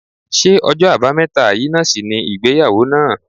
Ṣé ọjọ́ àbámẹ́ta yìí náà sì ni ìgbéyàwó náà?